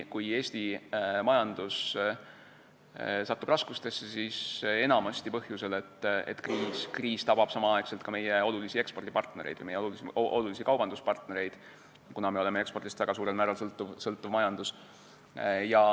Kui Eesti majandus satub raskustesse, siis enamasti põhjusel, et kriis tabab samal ajal ka meie olulisi ekspordipartnereid või kaubanduspartnereid, kuna meie majandus on väga suurel määral ekspordist sõltuv.